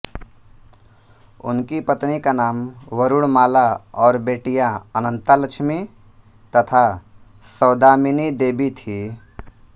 उसकी पत्नी का नाम वरुणमाला और बेटियाँ अनंता लक्ष्मी तथा सौदामिनी देवी थी